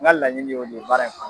N ka laɲini' don baara in kan.